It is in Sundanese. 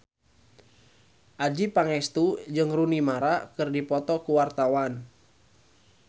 Adjie Pangestu jeung Rooney Mara keur dipoto ku wartawan